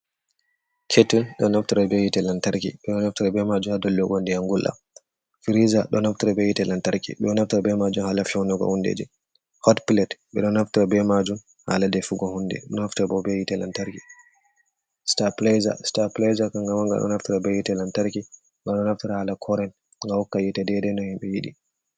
Ketele hrkft bmaju hadolligonde yangulla firiza doaft bhite lantarki bonafta b majun halafyaunuga hundeji hot pilat bestar plazer kan hamanga donaftara be hite lantarki ga donaftar hala koren ga hokkahita dedai no himɓe hiɗi.